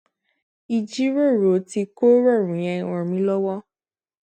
ìjíròrò tí kò rọrùn yẹn ràn mí lówó